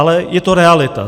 Ale je to realita.